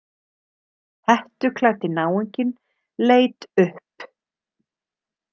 Hettuklæddi náunginn leit upp.